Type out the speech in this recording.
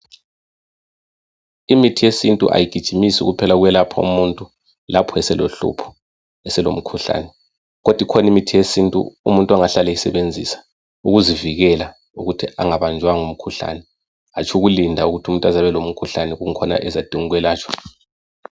Imithi yesintu kayigijimisi kuphela ukwelapha umuntu, lapho eselohlupho, eselomkhuhlane, kodwa ikhona imithi yesintu, umuntu angahlala eyisebenzisa. Ukuzivikela, ukuthi angabanjwa ngumkhuhlane. Hatshi ukulinda ukuthi umuntu aze abelomkhuhlane, eyikho ezadinga ukwelatshwa.